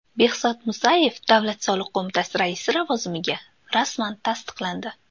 Behzod Musayev Davlat soliq qo‘mitasi raisi lavozimiga rasman tasdiqlandi.